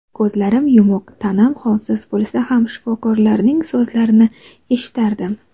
Ko‘zlarim yumuq, tanam holsiz bo‘lsa ham shifokorlarning so‘zlarini eshitardim.